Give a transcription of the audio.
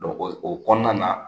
Dɔnku o kɔnɔna na